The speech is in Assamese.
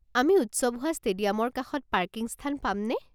আমি উৎসৱ হোৱা ষ্টেডিয়ামৰ কাষত পাৰ্কিং স্থান পামনে?